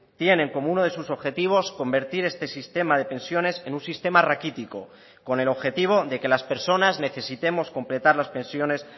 tienen como uno de sus objetivos convertir este sistema de pensiones en un sistema raquítico con el objetivo de que las personas necesitemos completar las pensiones